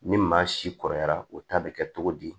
Ni maa si kɔrɔyara o ta bɛ kɛ cogo di